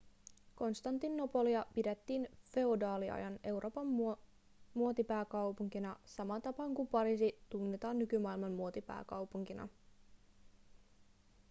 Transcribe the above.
konstantinopolia pidettiin feodaaliajan euroopan muotipääkaupunkina samaan tapaan kuin pariisi tunnetaan nykymaailman muotipääkaupunkina